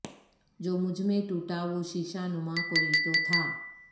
جو مجھ میں ٹوٹا وہ شیشہ نما کوئی تو تھا